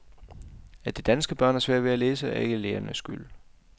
At de danske børn har svært ved at læse, er ikke lærernes skyld.